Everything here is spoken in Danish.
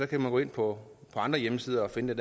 kan man gå ind på andre hjemmesider og finde